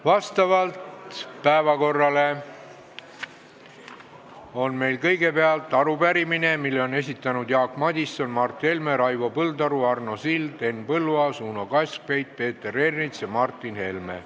Meie päevakorras on kõigepealt arupärimine, mille on esitanud Jaak Madison, Mart Helme, Raivo Põldaru, Arno Sild, Henn Põlluaas, Uno Kaskpeit, Peeter Ernits ja Martin Helme.